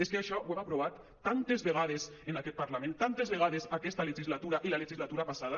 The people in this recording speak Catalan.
és que això ho hem aprovat tantes vegades en aquest parlament tantes vegades aquesta legislatura i la legislatura passada